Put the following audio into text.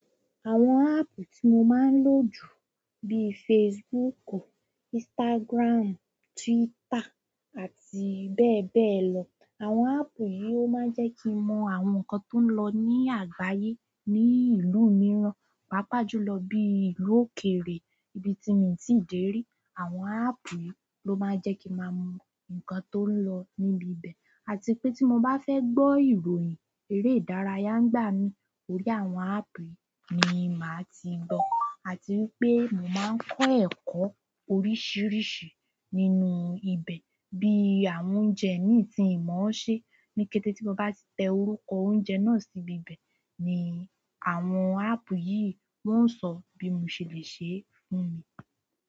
Àwọn appu tí mo máa ń lò jù bí Facebooku, Instagram, Twitter àti bẹ́ẹ̀ bẹ́ẹ̀ lọ. Àwọn appu yìí ó máa ń jẹ́ kí n mo àwọn nnkán tó ń lọ ní àgbáyé, ní ìlú mìíràn, pàápàá jùlọ bí ìlú òkèèrè ibi tí mo ti dé rí. Àwọn appu yìí ló máa ń jẹ́ kí n maa mọ nǹkan tó ń lọ níbi ibẹ̀ àti pé tí mo bá fẹ́ gbọ́ ìròyìn eré ìdárayá ń gbá mi, orí àwọn app yìí ni màá ti gbọ́ àti wípé mo máa ń kọ́ ẹ̀kọ́ oríṣiríṣi nínú ibẹ̀ bí àwọn oúnjẹ mí tìnmọ́ ṣẹ. Ní kété tí mo ba ti te orúkọ óunje náà sibi ibe ni àwọn appu yìí won so bi mo se le se, n.